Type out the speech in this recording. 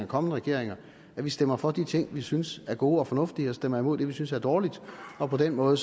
kommende regeringer vi stemmer for de ting vi synes er gode og fornuftige og stemmer imod det vi synes er dårligt og på den måde